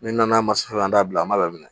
N'an nana an t'a bila an m'a laminɛ